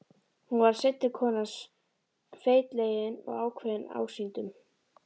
Hún varð seinni kona hans, feitlagin og ákveðin ásýndum.